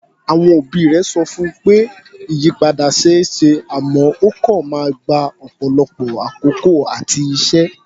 Àwọn òbí rẹ̀ sọ fún pé ìyípadà ṣe é ṣe àmọ́ ó kọ̀ máa gba ọ̀pọ̀lọpọ̀ àkókò àti iṣẹ́.